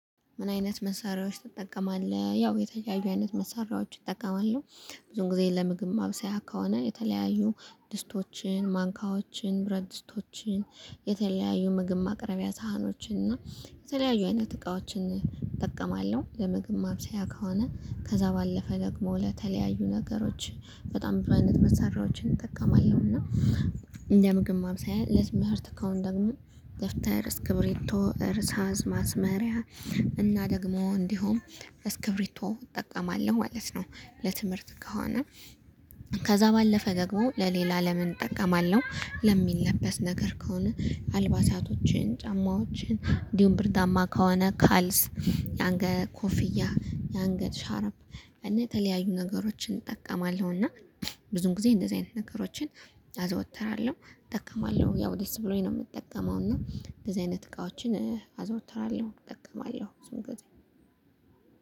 ምን አይነት መሳሪያዎች ትጠቀማለህ? ያው የተለያዩ አይነት መሳሪያዎች እጠቀማለሁ። ብዙን ጊዜ ለምግብ ማብሰያ ከሆነ የተለያዩ ድስቶችን ማንካዎችን ብረት ድስቶችን የተለያዩ ምግብ ማቅረቢያ ሳህኖችን እና የተለያዩ አይነት እቃዎችን እጠቀማለሁ። ለምግብ ማብሰያ ከሆነ ከዛ ባለፈ ደግሞ ለተለያዩ ነገሮች በጣም ብዙሃን መሳሪያዎችን እጠቀማለሁ። እና እንደ ምግብ ማብሰያ ለትምህርት ከሆነ ደግሞ ደብተር እስክብሪቶ እርሳስ ማስመሪያ እና ደግሞ እንዲሁም እስክብሪቶ እጠቀማለሁ ማለት ነው። ለትምህርት ከሆነ። ከዛ ባለፈ ደግሞ ለሌላ ለምን እጠቀማለሁ? ለሚለበስ ነገር ከሆነ አልባሳቶችን ጫማዎችን እንዲሁም ብርዳማ ከሆነ ካልስ ያንገት ኮፍያ ያንገት ሻርፕ እና የተለያዩ ነገሮችን እጠቀማለሁ። እና ብዙም ጊዜ እንደዚህ አይነት ነገሮችን አዘወትራለሁ። እጠቀማለሁ ያው ደስ ብሎኝ ነው ምጠቀመው። እና እንደዚህ አይነት እቃዎችን አዘወትራለሁ እጠቀማለሁ ብዙውን ጊዜ